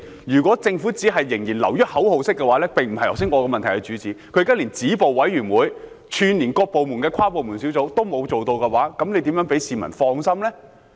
如果政府會做的只是仍然流於口號式，那並非我在質詢中主要想問的，政府現時連止暴委員會，以及串連各部門的跨部門小組都沒有做到，如何能令市民放心呢？